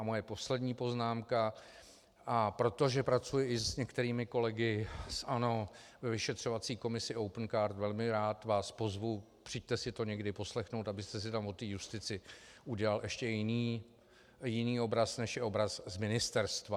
A moje poslední poznámka, a protože pracuji i s některými kolegy z ANO ve vyšetřovací komisi Opencard, velmi rád vás pozvu, přijďte si to někdy poslechnout, abyste si tam o té justici udělal ještě jiný obraz, než je obraz z ministerstva.